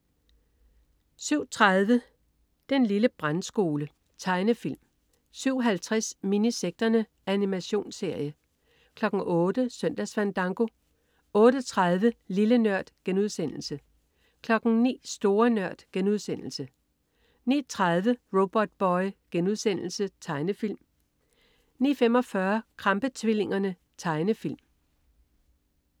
07.30 Den lille brandskole. Tegnefilm 07.50 Minisekterne. Animationsserie 08.00 Søndagsfandango 08.30 Lille Nørd* 09.00 Store Nørd* 09.30 Robotboy.* Tegnefilm 09.45 Krampe-tvillingerne. Tegnefilm